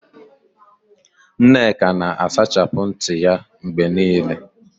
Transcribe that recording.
Nneka na-asachapụ ntị ya mgbe niile.